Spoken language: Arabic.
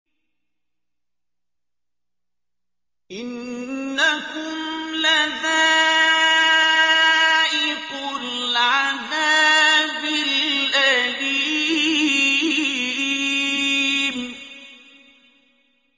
إِنَّكُمْ لَذَائِقُو الْعَذَابِ الْأَلِيمِ